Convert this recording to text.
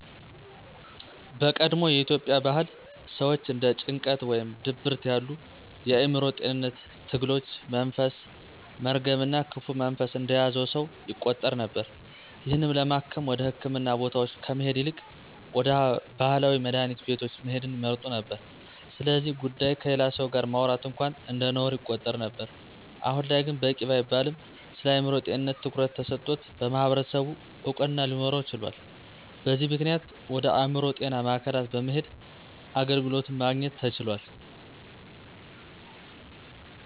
በቀድሞ የኢትዮጵያ ባህል ሰወች እንደ ጭንቀት ወይም ድብርት ያሉ የአዕምሮ ጤንነት ትግሎች መንፈስ፣ መርገም እና ክፉ መንፈስ እንደያዘው ሰው ይቆጠር ነበር። ይህንንም ለማከም ወደ ህክምና ቦታወች ከመሄድ ይልቅ ወደ ባህላዊ መድሀኒት ቤቶች መሄድን ይመርጡ ነበር። ስለዚ ጉዳይ ከሌላ ሰው ጋር ማውራት እንኳን እንደነውር ይቆጠር ነበር። አሁን ላይ ግን በቂ ባይባልም ስለአእምሮ ጤንነት ትኩረት ተሰጥቶት በማህበረሰቡ እውቅና ሊኖረው ችሏል። በዚም ምክንያት ወደ አእምሮ ጤና ማዕከላት በመሄድ አገልግሎትን ማግኘት ተችሏል።